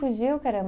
Fugiu, caramba.